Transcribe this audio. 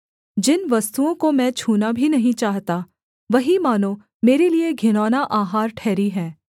जिन वस्तुओं को मैं छूना भी नहीं चाहता वही मानो मेरे लिये घिनौना आहार ठहरी हैं